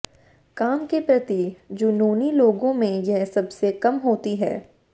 काम के प्रति जुनूनी लोगों में यह सबसे कम होती है